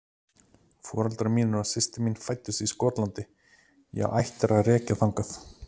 Foreldrar mínir og systir mín fæddust í Skotlandi, ég á ættir að rekja þangað